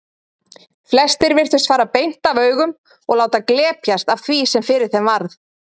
Flestir virtust fara beint af augum og láta glepjast af því sem fyrir þeim varð.